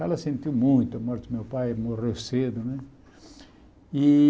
Ela sentiu muito a morte do meu pai, morreu cedo né. E